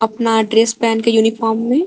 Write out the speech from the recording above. नया ड्रेस पहन के यूनिफॉर्म में--